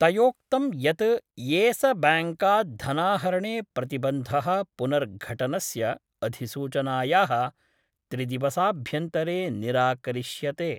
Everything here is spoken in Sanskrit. तयोक्तं यत् येस बैंकात् धनाहरणे प्रतिबंधः पुनर्घटनस्य अधिसूचनायाः त्रिदिवसाभ्यन्तरे निराकरिष्यते।